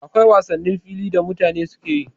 Akwai wasannin fili da mutane suke yi